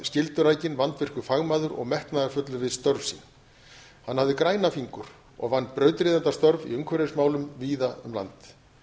en jafnframt skyldurækinn vandvirkur fagmaður og metnaðarfullur við störf sín hann hafði græna fingur og vann brautryðjendastörf í umhverfismálum víða um land